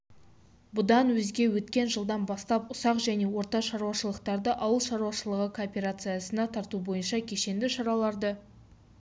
бұдан өзге өткен жылдан бастап ұсақ және орта шаруашылықтарды ауыл шаруашылығы кооперациясына тарту бойынша кешенді шараларды